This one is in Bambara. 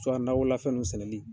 nakɔlafɛn ninnu sɛnɛli